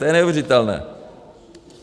To je neuvěřitelné.